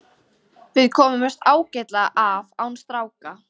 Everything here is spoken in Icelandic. Við komumst ágætlega af án stráka.